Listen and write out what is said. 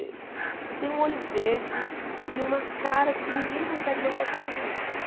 Ele tem um olho verde e uma cara que ninguém consegue não gostar do menino.